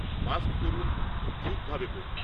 Mask পরুন ও ঠিক ভাবে পরুন।